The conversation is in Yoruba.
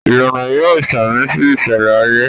Ìlànà yóò samisi iṣẹlẹ ayé